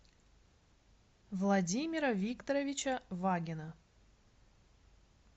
владимира викторовича вагина